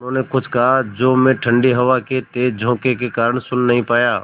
उन्होंने कुछ कहा जो मैं ठण्डी हवा के तेज़ झोंके के कारण सुन नहीं पाया